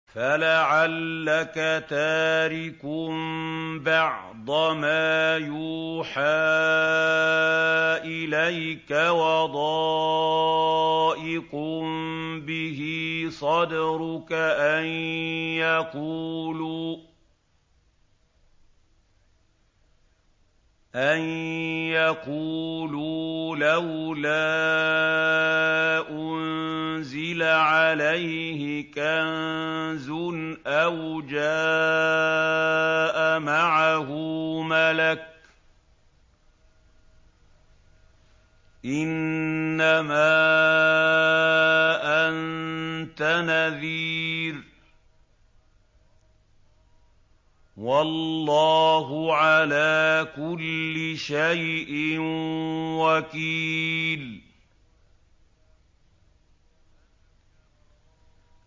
فَلَعَلَّكَ تَارِكٌ بَعْضَ مَا يُوحَىٰ إِلَيْكَ وَضَائِقٌ بِهِ صَدْرُكَ أَن يَقُولُوا لَوْلَا أُنزِلَ عَلَيْهِ كَنزٌ أَوْ جَاءَ مَعَهُ مَلَكٌ ۚ إِنَّمَا أَنتَ نَذِيرٌ ۚ وَاللَّهُ عَلَىٰ كُلِّ شَيْءٍ وَكِيلٌ